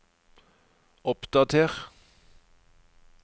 oppdater